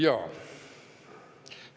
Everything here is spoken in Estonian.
Jaa.